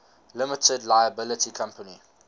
limited liability company